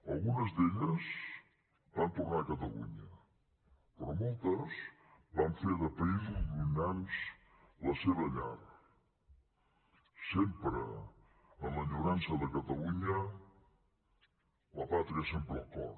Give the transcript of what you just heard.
algunes d’elles van tornar a catalunya però moltes van fer de països llunyans la seva llar sempre amb enyorança de catalunya la pàtria sempre al cor